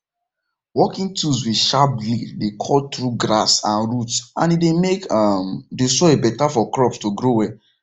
working tools with sharp blade dey cut through grass and root and e dey make um the soil better for crops to grow well